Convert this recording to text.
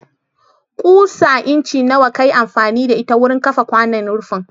Ƙusa incin nawa ka yi amfani da ita wurin kafa kwanon rufin?